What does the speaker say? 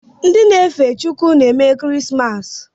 Ndị na-efe Chukwu na-eme kirismasi